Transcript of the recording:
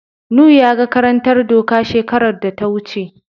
Nu yaga karantar doka shekarar da ta wuce.